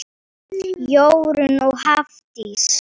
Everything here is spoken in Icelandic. Jórunn og Hafdís.